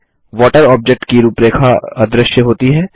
water object की रूपरेखा अदृश्य होती है